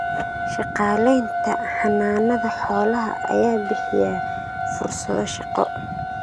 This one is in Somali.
Shaqaalaynta Xannaanada xoolaha ayaa bixiya fursado shaqo.